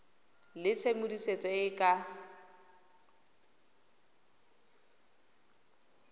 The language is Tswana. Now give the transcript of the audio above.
le tshedimosetso e e ka